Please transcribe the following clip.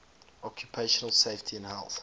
occupational safety and health